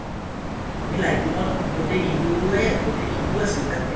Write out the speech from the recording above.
আমি লৈত্লুম ত গোটেই দিনটো..এ গোটেই দিনটো আছিলোঁ তাতে।